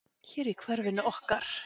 Hér í hverfinu okkar?